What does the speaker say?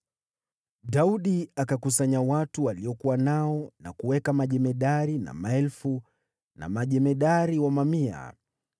Daudi akakusanya watu aliokuwa nao na kuweka majemadari wa maelfu na majemadari wa mamia.